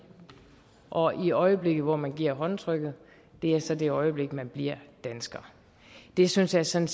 og i det øjeblik hvor man giver håndtrykket er så det øjeblik man bliver dansker det synes jeg sådan